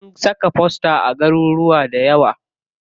Sun saka fosta a garuruka dayawa.